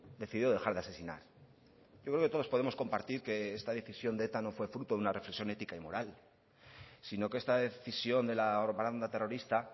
decidió dejar de asesinar yo creo que todos podemos compartir que esta decisión de eta no fue fruto de una reflexión ética y moral sino que esta decisión de la banda terrorista